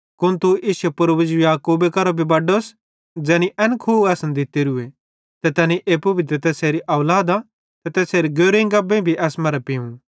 कुन तू इश्शे पूर्वज याकूबे करां भी बड्डोस ज़ैनी एन खुह असन दित्तेरूए ते तैनी एप्पू भी ते तैसेरी औलादां ते तैसेरे गोरु गब्बेइं भी एस्से मरां पिव